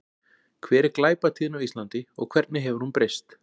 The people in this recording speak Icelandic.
Hver er glæpatíðni á Íslandi og hvernig hefur hún breyst?